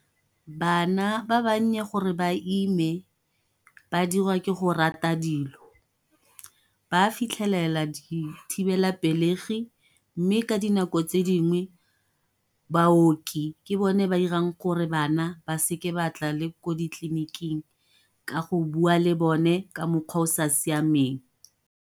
Bana ba bannye gore ba ime ba diriwa ke go rata dilo, ba fitlhelela dithibelapelegi. Mme ka dinako tse dingwe baoki ke bone ba irang gore bana ba se ke batla ko ditleliniking, ka go bua le bone ka mokgwa o o sa siameng.